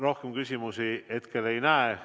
Rohkem küsimusi hetkel ei näe.